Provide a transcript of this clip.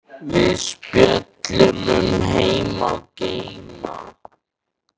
Við spjölluðum um heima og geima.